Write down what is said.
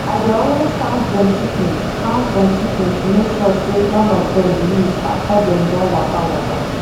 i dey always count dem chicken count dem chicken to make sure say none of them lose after dem don waka waka